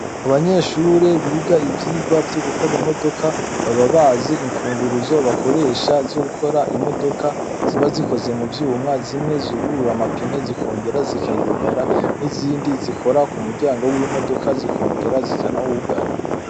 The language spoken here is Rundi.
Abanyeshure biga ivyirwa vyo gukora imodoka baba bazi imfunguruzo bakoresha zugukora imodoka ziba zikoze mu vyuma, zimwe zugurura amapine zikongera zikayugara n'izindi zikora ku muryango w'imodoka zikongera zikanawugara.